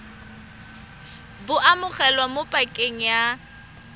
bo amogelwa mo pakeng ya